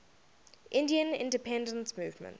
indian independence movement